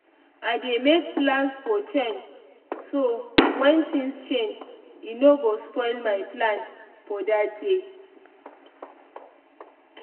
i dey make plans for change so when things change e no go spoil my plan for that day.